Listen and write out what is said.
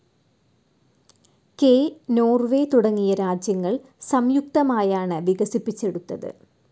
K. Norway തുടങ്ങിയ രാജ്യങ്ങൾ സംയുക്തമായാണ് വികസിപ്പിച്ചെടുത്തത്.